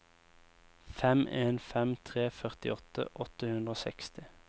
fem en fem tre førtiåtte åtte hundre og seksti